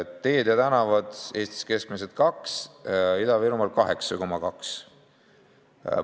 Teed ja tänavad: Eestis keskmiselt 2%, Ida-Virumaal 8,2%.